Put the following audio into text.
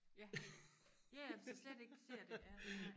ja ja ja hvis de slet ikke ser det nej